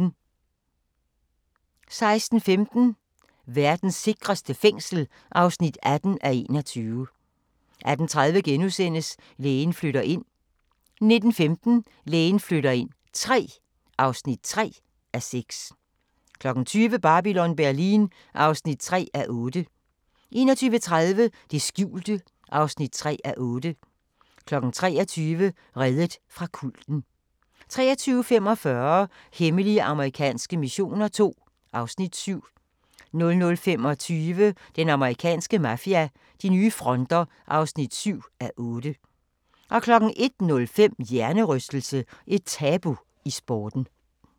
16:15: Verdens sikreste fængsel (18:21) 18:30: Lægen flytter ind * 19:15: Lægen flytter ind III (3:6) 20:00: Babylon Berlin (3:8) 21:30: Det skjulte (3:8) 23:00: Reddet fra kulten 23:45: Hemmelige amerikanske missioner II (Afs. 7) 00:25: Den amerikanske mafia: De nye fronter (7:8) 01:05: Hjernerystelse - et tabu i sporten